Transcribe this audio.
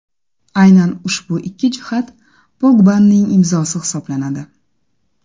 Aynan ushbu ikki jihat Pogbaning imzosi hisoblanadi.